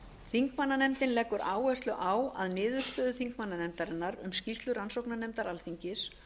þingmannanefndin leggur áherslu á að niðurstöður þingmannanefndarinnar um skýrslu rannsóknarnefndar alþingis